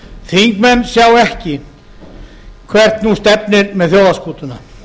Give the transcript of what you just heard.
þingmenn sjá ekki hvert nú stefnir með þjóðarskútuna